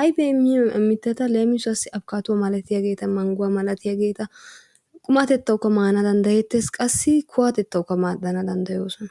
Ayfiya immiya mittata leemisuwassi abakkaadduwa malatiyageeta, mangguwa malatiyageeta, qumatettawukka maana danddayettees qassi kuwatettawukka maaddana danddayoosona.